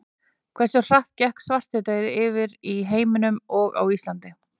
Hversu hratt gekk svartidauði yfir í heiminum og á Íslandi?